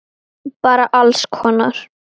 Bara alls konar.